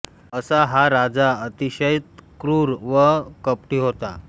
असा हा राजा अतिशय क्रुर व कपटी होता